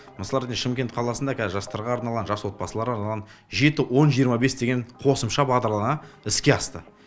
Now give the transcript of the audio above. мысалы шымкент қаласында қазір жастарға арналған жас отбасыларға арналған жеті он жиырма бес деген қосымша бағдарлама іске асты